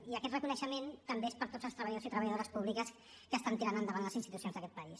i aquest reconeixent també és per tots els treballadors i treballadores públiques que estan tirant endavant les institucions d’aquest país